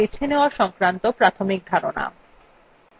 তথ্য ফিল্টার বা বেছে নেওযা সংক্রান্ত প্রাথমিক ধারণা